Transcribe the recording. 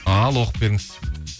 ал оқып беріңіз